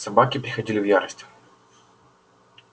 собаки приходили в ярость